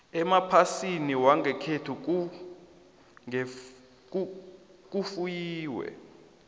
emaplasini wangekhethu kufuyiwe